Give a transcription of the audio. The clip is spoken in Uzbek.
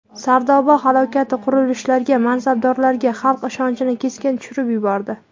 Sardoba halokati qurilishlarga, mansabdorlarga xalq ishonchini keskin tushirib yubordi.